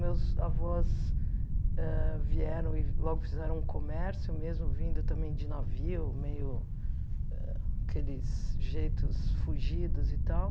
Meus avós ah vieram e logo fizeram um comércio, mesmo vindo também de navio, meio aqueles jeitos fugidos e tal.